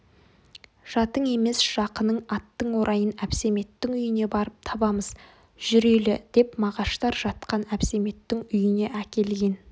жатың емес жақының аттың орайын әбсәметтің үйіне барып табамыз жүрелі деп мағаштар жатқан әбсәметтің үйіне әкелген